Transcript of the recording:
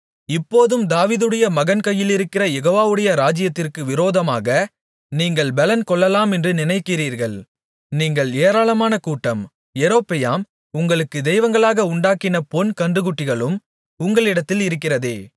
இப்போதும் தாவீதுடைய மகன் கையிலிருக்கிற யெகோவாவுடைய ராஜ்ஜியத்திற்கு விரோதமாக நீங்கள் பெலன் கொள்ளலாமென்று நினைக்கிறீர்கள் நீங்கள் ஏராளமான கூட்டம் யெரொபெயாம் உங்களுக்கு தெய்வங்களாக உண்டாக்கின பொன் கன்றுக்குட்டிகளும் உங்களிடத்தில் இருக்கிறதே